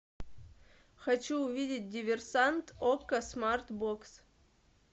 хочу увидеть диверсант окко смарт бокс